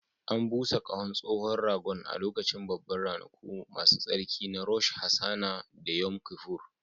An busa ƙahon tsohon ragon a lokacin Babban Ranaku Masu Tsarki na Rosh Hashanah da Yom Kippur